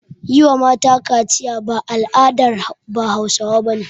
Yi wa mata kaciya ba al'adar bahause bane